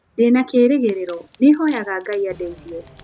Ndĩ na kĩĩrĩgĩrĩro, nĩ hoyaga Ngai andeithie.